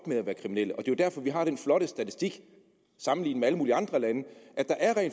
med at være kriminelle og det er jo derfor vi har den flotte statistik sammenlignet med alle mulige andre lande